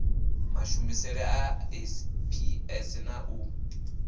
mashumisele a sps na u